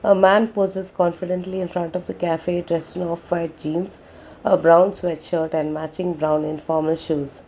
a man poses confidently in front of the cafe dress in off white jeans a brown sweatshirt and matching brown informal shoes.